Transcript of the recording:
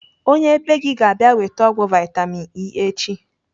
Onye bee gị ga - abịa weta ọgwụ vitamin E echi.